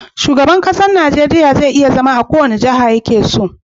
Shugaban ƙasar Nigeria je iya zama a kowace jaha yakeso